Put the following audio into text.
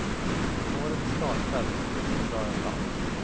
Årets startfält var mycket bra överlag.